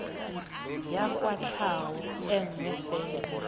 ya kwatlhao e nngwe fela